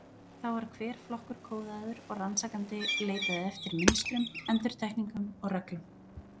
Þá var hver flokkur kóðaður og rannsakandi leitaði eftir, mynstrum, endurtekningum og reglum.